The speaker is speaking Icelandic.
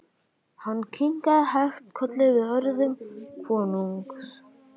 Hann kinkaði hægt kolli við orðum konungs.